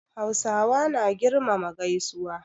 Hausawa na girmama gaisuwa.